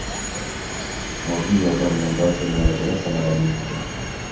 Moddiy yordam bilan barcha muolajalar samarali o‘tdi.